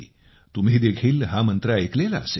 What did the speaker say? तुम्ही देखील हा मंत्र ऐकलेला असेल